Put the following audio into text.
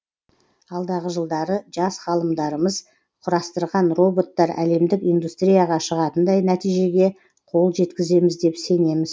алдағы жылдары жас ғалымдарымыз құрастырған роботтар әлемдік индустрияға шығатындай нәтижеге қол жеткіземіз деп сенеміз